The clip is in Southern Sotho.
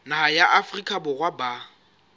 naha ya afrika borwa ba